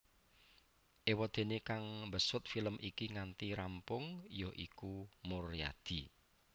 Éwadéné kang mbesut film iki nganti rampung ya iku Muryadi